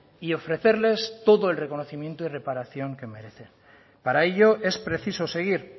y ofrecerles todo el reconocimiento y reparación que merecen para ello es preciso seguir